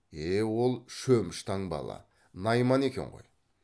е е ол шөміш таңбалы найман екен ғой